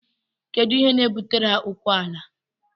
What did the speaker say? Kedu ihe na-ebutere ha okwu ala?